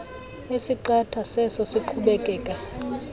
esiqatha seso siqhubekeka